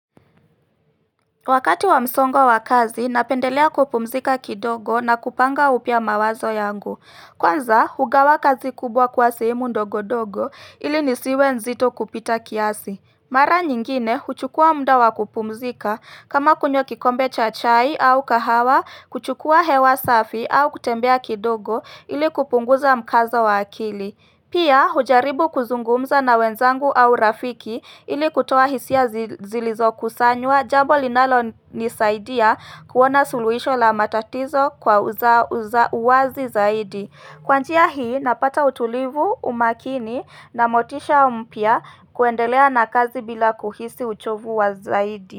Wakati wa msongo wa kazi, napendelea kupumzika kidogo na kupanga upya mawazo yangu. Kwanza, hugawa kazi kubwa kuwa sehemu ndogo-dogo ili nisiwe nzito kupita kiasi. Mara nyingine, huchukua mda wakupumzika, kama kunywa kikombe cha chai au kahawa, kuchukua hewa safi au kutembea kidogo ili kupunguza mkazo wa akili. Pia hujaribu kuzungumza na wenzangu au rafiki ili kutoa hisia zilizo kusanywa jambo linalo nisaidia kuona suluhisho la matatizo kwa uza uwazi zaidi. Kwa njia hii napata utulivu, umakini na motisha mpya kuendelea na kazi bila kuhisi uchovu wa zaidi.